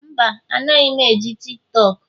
Mba, anaghị m eji TikTok